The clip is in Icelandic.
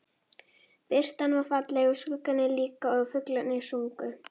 Birtan var falleg og skuggarnir líka og fuglarnir sungu.